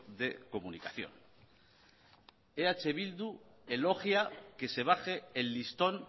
de comunicación eh bildu elogia que se baje el listón